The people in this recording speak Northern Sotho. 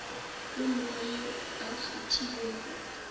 yo mongwe yo a kgethilwego